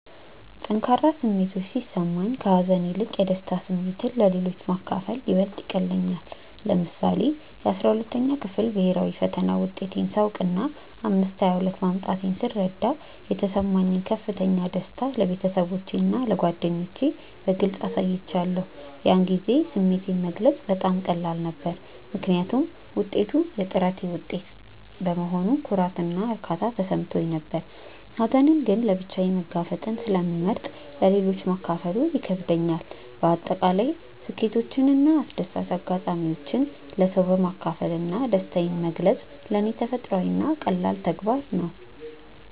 ጠንካራ ስሜቶች ሲሰማኝ፣ ከሀዘን ይልቅ የደስታ ስሜትን ለሌሎች ማካፈል ይበልጥ ይቀልለኛል። ለምሳሌ፣ የ12ኛ ክፍል ብሄራዊ ፈተና ውጤቴን ሳውቅና 522 ማምጣቴን ስረዳ የተሰማኝን ከፍተኛ ደስታ ለቤተሰቦቼና ለጓደኞቼ በግልጽ አሳይቻለሁ። ያን ጊዜ ስሜቴን መግለጽ በጣም ቀላል ነበር፤ ምክንያቱም ውጤቱ የጥረቴ ውጤት በመሆኑ ኩራትና እርካታ ተሰምቶኝ ነበር። ሀዘንን ግን ለብቻዬ መጋፈጥን ስለመርጥ ለሌሎች ማካፈሉ ይከብደኛል። በአጠቃላይ ስኬቶችንና አስደሳች አጋጣሚዎችን ለሰዎች በማካፈል ደስታዬን መግለጽ ለኔ ተፈጥሯዊና ቀላል ተግባር ነው።